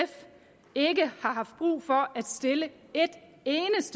ikke har haft brug for at stille